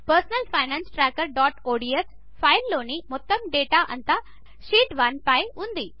మన personal finance trackerఒడిఎస్ ఫైల్లోని మొత్తం డేటా అంతా షీట్ 1 పై ఉంది